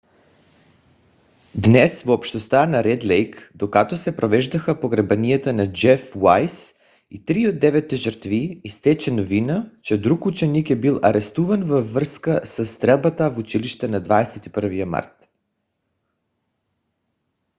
днес в общността на ред лейк докато се провеждаха погребенията на джеф уайз и три от деветте жертви изтече новина че друг ученик е бил арестуван във връзка със стрелбата в училище на 21 март